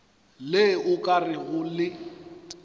le o ka rego le